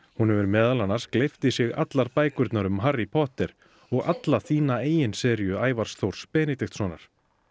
hún hefur meðal annars gleypt í sig allar bækurnar um Harry Potter og alla þína eigin seríu Ævars Þórs Benediktssonar